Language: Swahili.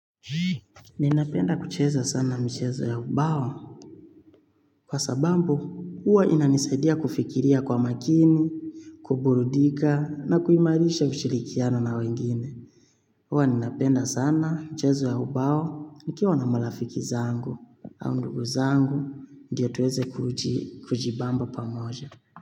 Ninapenda kucheza sana mchezo ya ubao. Kwa sabambu, uwa inanisaidia kufikiria kwa makini. Kuburudika na kuimarisha ushilikiano na wengine. Uwa ninapenda sana mchezo ya ubao. Nikiwa na malafiki zangu au ndugu zangu, ndio tuweze kujibamba pamoja.